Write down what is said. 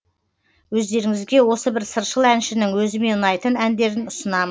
өздеріңізге осы бір сыршыл әншінің өзіме ұнайтын әндерін ұсынамын